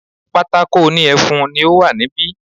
Pátákó òní ẹfun ni ó wà ní bi